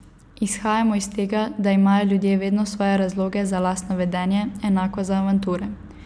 Izhajamo iz tega, da imajo ljudje vedno svoje razloge za lastno vedenje, enako za avanture.